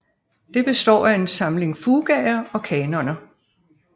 Det består af en samling fugaer og kanoner